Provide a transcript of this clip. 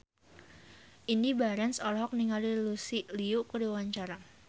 Indy Barens olohok ningali Lucy Liu keur diwawancara